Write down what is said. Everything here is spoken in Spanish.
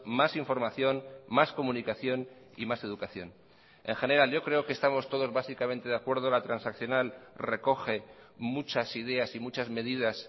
más información más comunicación y más educación en general yo creo que estamos todos básicamente de acuerdo la transaccional recoge muchas ideas y muchas medidas